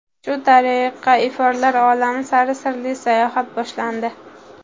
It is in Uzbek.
Shu tariqa iforlar olami sari sirli sayohat boshlandi.